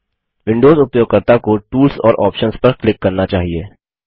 Windows उपयोगकर्ता को tools और आप्शंस पर क्लिक करना चाहिए